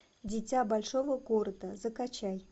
дитя большого города закачай